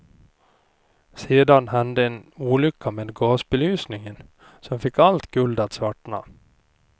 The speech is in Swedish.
Sedan hände en olycka med gasbelysningen som fick allt guld att svartna.